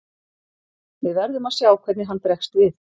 Við verðum að sjá hvernig hann bregst við.